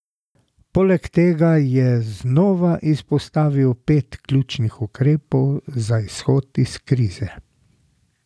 Poleg tega je znova izpostavil pet ključnih ukrepov za izhod iz krize.